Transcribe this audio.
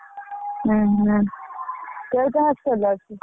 ଉଁ ହୁଁ କୋଉଟା hostel ରେ ଅଛି।